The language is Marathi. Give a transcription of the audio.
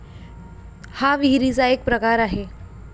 हा विहिरीचा एक प्रकार आहे.